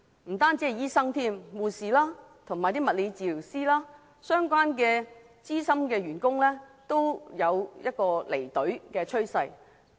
不單醫生，護士、物理治療師及相關資深員工都有離隊的趨勢。